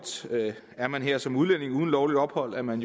er man her som udlænding uden lovligt ophold er man